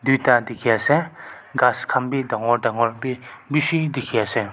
tuita dikhiase ghas khan bi dangor dangor bi bishi dikhiase.